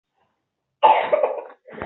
Babu dangantakar soyayya ta jima'i daya a baya.